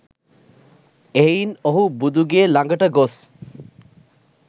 එහෙයින් ඔහු බුදු ගේ ලඟට ගොස්